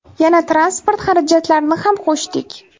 Yana transport xarajatlarini ham qo‘shdik.